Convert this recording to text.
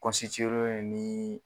len do ni